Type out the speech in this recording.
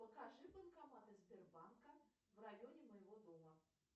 покажи банкоматы сбербанка в районе моего дома